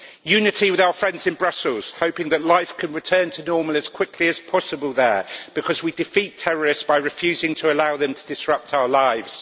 Unity with our friends in Brussels, hoping that life can return to normal as quickly as possible there, because we defeat terrorists by refusing to allow them to disrupt our lives.